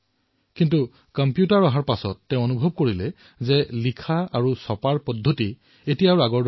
কিন্তু কম্পিউটাৰ অহাৰ পিছত তেওঁ ভাবিলে যে এতিয়া কিতাপ লিখাৰ আৰু ছপা হোৱাৰ পদ্ধতি পৰিৱৰ্তন হৈছে